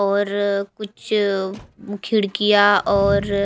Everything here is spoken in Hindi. और कुछ खिड़कियां और--